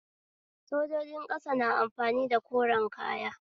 Sojojin ƙasa na amfani da koren kaya